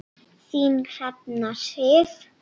Þín Hrefna Sif.